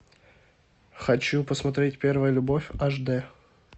хочу посмотреть первая любовь аш д